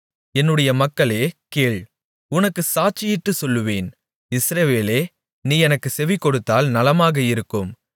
என்னுடைய மக்களே கேள் உனக்குச் சாட்சியிட்டுச் சொல்லுவேன் இஸ்ரவேலே நீ எனக்குச் செவிகொடுத்தால் நலமாக இருக்கும்